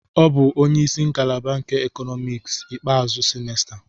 O bụ onye isi ngalaba nke Economics ikpeazụ semester.